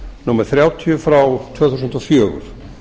númer þrjátíu tvö þúsund og fjögur